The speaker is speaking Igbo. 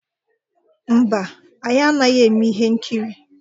Mba, anyị anaghị eme ihe nkiri.